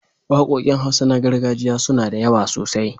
Waƙoƙin Hausa na gargajiya suna da yawa sosai.